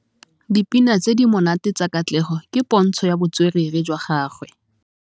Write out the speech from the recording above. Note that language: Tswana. Dipina tse di monate tsa Katlego ke pôntshô ya botswerere jwa gagwe.